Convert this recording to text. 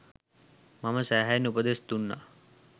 මං සෑහෙන්න උපදෙස් දුන්නා